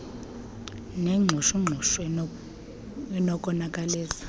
nengxushu ngxushu enokonakalisa